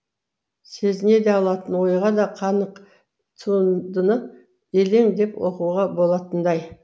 сезіне де алатын ойға да қанық туындыны елең деп оқуға болатындай